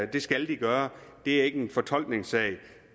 det skal de gøre det er ikke en fortolkningssag der